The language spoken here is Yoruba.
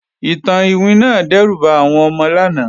Ìtàn iwin náà dẹ́rù ba àwọn ọmọ lánàá